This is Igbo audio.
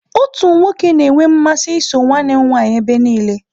Otu nwoke na-enwe mmasị iso nwanne m nwanyị ebe niile.